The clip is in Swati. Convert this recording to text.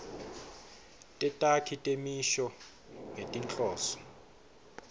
tetakhi temisho ngetinhloso